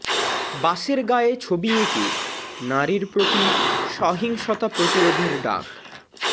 বাসের গায়ে ছবি এঁকে নারীর প্রতি সহিংসতা প্রতিরোধের ডাক